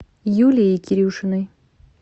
юлией кирюшиной